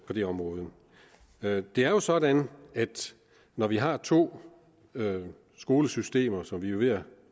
det område det er jo sådan at når vi har to skolesystemer som vi jo ved at